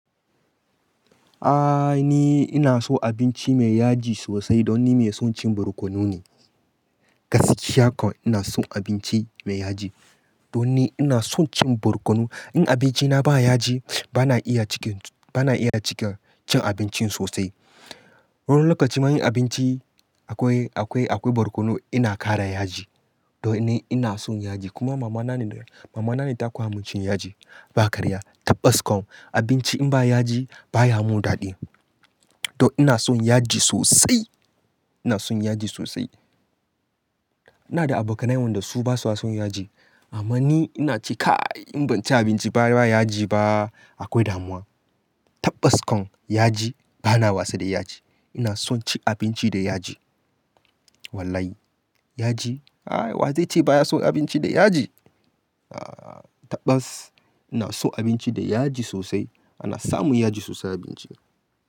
Aaa! Ni ina so abinci mai yaji sosai don ni mai son cin borkono ne. Gaskiya ko, ina son abinci mai yaji. Don ni ina son cin borkonu. In abincina ba yaji, ba na iya cikin, ba na iya cika cin abincin sosai. Wani lokaci ma in abinci akwai, akwai, akwai borkonu ina ƙara yaji. Don ni ina son yaji, kuma mama na ne, mama na ne ta koya mun cin yaji. Ba karya, tabbas kom, abinci in ba yaji baya mun daɗi. To ina son yaji sosai. Ina son yaji sosai. Ina da abokanai wanda su basa son yaji. Amma ni ina ce "Kai in ban ci abinci ba, ba yaji ba, akwai damuwa". Tabbas kom, yaji, ba na wasa da yaji. Ina son ci abinci da yaji. Wallahi, yaji, ai wa zai ce baya so abinci da yaji? Aaa! Tabbas ina so abinci da yaji sosai, ana samun yaji sosai a abinci.